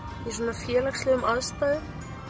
í félagslegum aðstæðum